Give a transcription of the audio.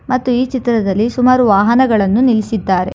ಮತ್ತು ಈ ಚಿತ್ರದಲ್ಲಿ ಸುಮಾರು ವಾಹನಗಳನ್ನು ನಿಲ್ಲಿಸಿದ್ದಾರೆ.